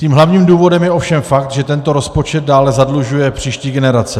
Tím hlavním důvodem je ovšem fakt, že tento rozpočet dále zadlužuje příští generace.